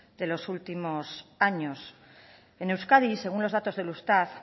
de los últimos años en euskadi según los datos del eustat